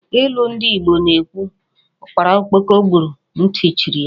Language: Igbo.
Ilu ndị Igbo na-ekwu, Ụ́kpárá Ókpókò gburu, ntị chiri ya